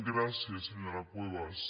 gràcies senyora cuevas